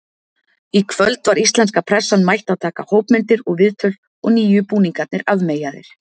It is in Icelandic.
Í kvöld var íslenska pressan mætt að taka hópmyndir og viðtöl og nýju búningarnir afmeyjaðir.